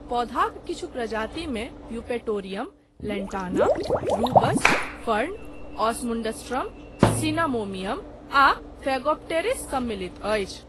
पौधाक किछु प्रजातिमे Eupatorium, Lantana, Rubus, fern, Osmundastrum cinnamomeum आ फेगोप्टेरिस सम्मिलित छै।